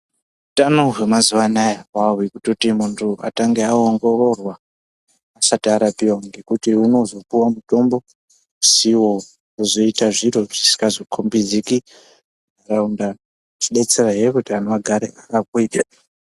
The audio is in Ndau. Hutano hwemazuwa anaya hwahwekutoti munhu atange aongororwa asati arapiwa ngekuti unozopuwa mutombo usiwo wozoita zviro zvisingazokombidziki munharaunda zvodetserazve kuti anhu agare akagwinya.